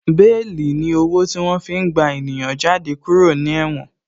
Béèlì ni owó tí wọ́n fi gba ènìyàn jáde kúrò ní Ẹ̀wòn